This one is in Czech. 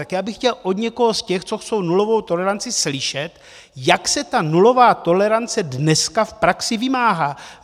Tak já bych chtěl od někoho z těch, co chtějí nulovou toleranci, slyšet, jak se ta nulová tolerance dneska v praxi vymáhá.